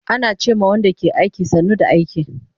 Ana ce ma Wanda ke aiki, sannu da aiki